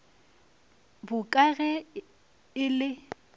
bo ka ge e le